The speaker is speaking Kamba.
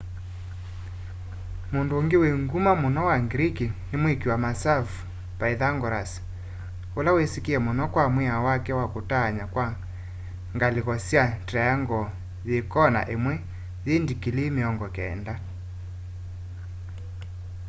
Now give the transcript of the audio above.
mũndũ ũngĩ wĩ ngũma mũno wa greek nĩ mwĩkĩ wa masavũ pythagoras ũla wĩsĩkanĩe mũno kwa mwĩao wake wa kũtaanya kwa ngalĩko sya triangle yĩ kona ĩmwe yĩ ndikilii mĩongo kenda